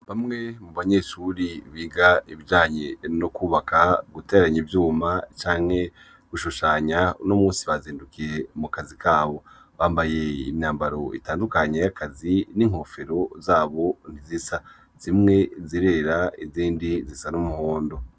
Bamwe mu banyeshure biga ibijanye no kwubaka, guteranya ivyuma canke gushushanya, uno munsi bazindukiye mu kazi kabo. Bambaye imyambaro itandukanye y'akazi, n'inkofero zabo zisa. Zimwe zirera izindi zisa n'umuhondo